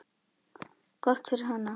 Gott fyrir hana.